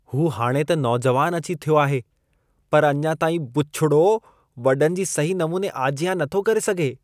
हू हाणे त नौजुवान अची थियो आहे पर अञां ताईं बुछिड़ो वॾनि जी सही नमूने आजियां नथो करे सघे।